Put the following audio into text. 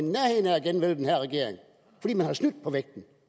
i at man har snydt på vægten